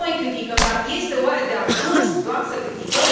Și noi criticăm, dar este, oare, de ajuns doar să criticăm?